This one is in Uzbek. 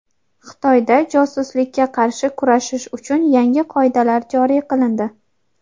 Xitoyda josuslikka qarshi kurashish uchun yangi qoidalar joriy qilindi.